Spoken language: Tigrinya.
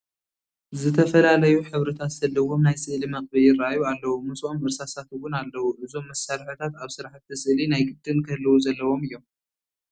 ዝተፈላለዩ ሕብርታት ዘለዎም ናይ ስእሊ መቕብኢ ይርአዩ ኣለዉ፡፡ ምስኦም እርሳሳት እውን ኣለዉ፡፡ እዞም መሳርሕታት ኣብ ስራሕቲ ስእሊ ናይ ግድን ክህልዉ ዘለዎም እዮም፡፡